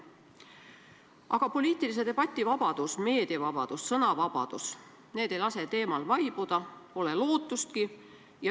Aga poliitilise debati vabadus, meediavabadus, sõnavabadus – need ei lase teemal vaibuda, pole lootustki.